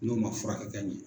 N'u man furakɛ ka ɲɛ.